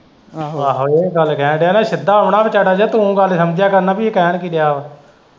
ਆਹੋ ਇਹ ਗੱਲ ਕਹਿਣ ਦਿਆਂ ਨਾ ਸਿੱਧਾ ਹੋਣਾ ਵਿਚਾਰਾ ਜਿਹਾ ਤੂੰ ਗੱਲ ਸਮਝਿਆ ਕਰ ਨਾ ਵੀ ਇਹ ਕਹਿਣ ਕਿ ਦਿਆਂ ਵਾਂ।